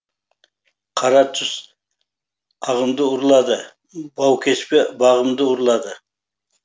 қара түс ағымды ұрлады баукеспе бағымды ұрлады